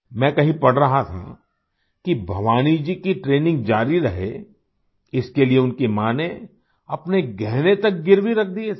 मैं कहीं पढ़ रहा था कि भवानी जी की ट्रेनिंग जारी रहे इसके लिए उनकी माँ ने अपने गहने तक गिरवी रख दिये थे